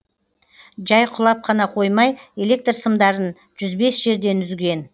жай құлап қана қоймай электр сымдарын жүз бес жерден үзген